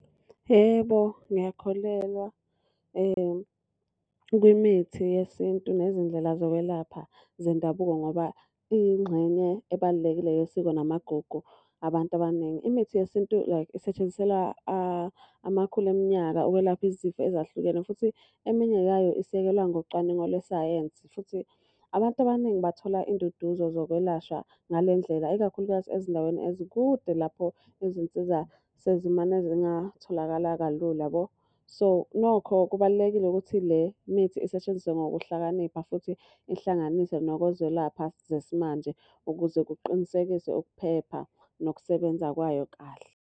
Yebo, ngiyakholelwa kwimithi yesintu nezindlela zokwelapha zendabuko ngoba iyingxenye ebalulekile yesiko namagugu abantu abaningi. Imithi yesintu like isetshenziselwa amakhulu eminyaka ukwelapha izifo ezahlukene futhi eminye yayo isekelwa ngocwaningo lwesayensi, Futhi abantu abaningi bathola induduzo zokwelashwa ngale ndlela, ikakhulukazi ezindaweni ezikude lapho izinsiza sezimane zingatholakala kalula yabo. So, nokho kubalulekile ukuthi le mithi isetshenziswe ngokuhlakanipha futhi ihlanganise nokozwelapha zesimanje, ukuze kuqinisekiswe ukuphepha nokusebenza kwayo kahle.